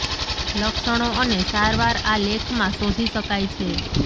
લક્ષણો અને સારવાર આ લેખ માં શોધી શકાય છે